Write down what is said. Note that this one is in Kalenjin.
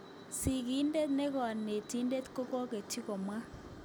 Sikidet ne konetidet ko koketyi komwa.